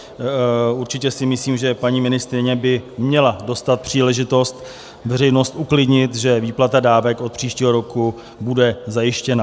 Určitě si myslím, že paní ministryně by měla dostat příležitost veřejnost uklidnit, že výplata dávek od příštího roku bude zajištěna.